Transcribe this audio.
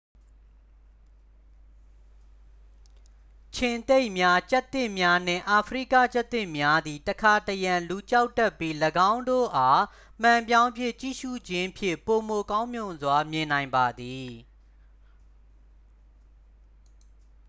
ခြင်္သေ့များ ကျားသစ်များနှင့် အာဖရိကကျားသစ်များသည် တခါတရံ လူကြောက်တတ်ပြီး ၎င်းတို့အား မှန်ပြောင်းဖြင့် ကြည့်ရှု့ခြင်းဖြင့် ပိုမိုကောင်းမွန်စွာမြင်နိုင်ပါမည်